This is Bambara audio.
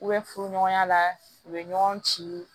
U bɛ furu ɲɔgɔnya la u bɛ ɲɔgɔn ci